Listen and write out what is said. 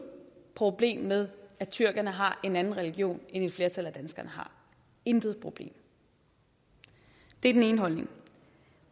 problem med at tyrkerne har en anden religion end et flertal af danskerne har intet problem det er den ene holdning